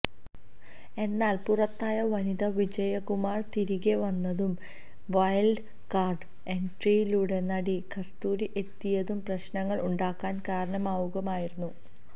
എന്നാല് പുറത്തായ വനിതാ വിജയകുമാര് തിരികെ വന്നതും വൈല്ഡ് കാര്ഡ് എന്ട്രിയിലൂടെ നടി കസ്തൂരി എത്തിയതും പ്രശ്നങ്ങള് ഉണ്ടാകാന് കാരണമാവുകയായിരുന്നു